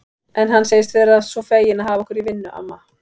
En hann segist vera svo feginn að hafa okkur í vinnu, amma